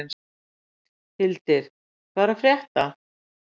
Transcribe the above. Hildir, hvað er að frétta?